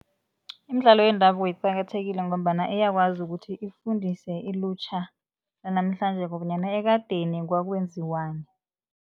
Imidlalo yendabuko iqakathekile ngombana iyakwazi ukuthi ifundise ilutjha lanamhlanje bonyana ekadeni kwakwenziwani.